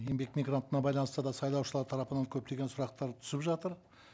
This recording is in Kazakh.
еңбек мигрантына байланысты да сайлаушылар тарапынан көптеген сұрақтар түсіп жатыр